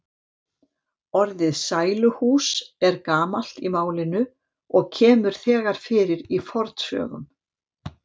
Orðið sæluhús er gamalt í málinu og kemur þegar fyrir í fornsögum.